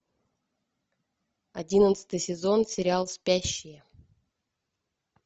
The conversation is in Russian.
одиннадцатый сезон сериал спящие